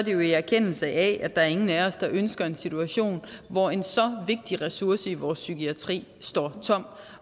jo i erkendelse af at der er ingen af os der ønsker en situation hvor en så vigtig ressource i vores psykiatri står tom